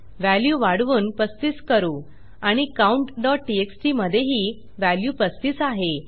value वाढवून 35 करू आणि countटीएक्सटी मधेही व्हॅल्यू 35 आहे